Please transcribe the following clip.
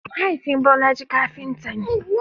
Mahaifin Bolaji kafinta ne.